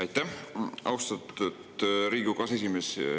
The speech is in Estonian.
Aitäh, austatud Riigikogu aseesimees!